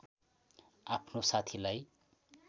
आफ्नो साथीलाई